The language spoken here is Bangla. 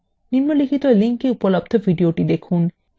নিম্নলিখিত link এ উপলব্ধ video দেখুন